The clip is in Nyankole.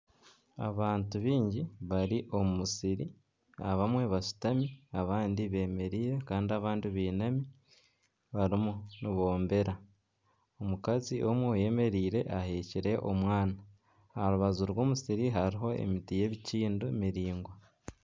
Abantu baingi bari omu musiri abamwe bashutami abandi bemereire kandi abandi bainami barimu niboombera, omukazi omwe oyemereire aheekire omwana aha rubaju rw'omusiri hariho emiti y'ebikindo miraingwa.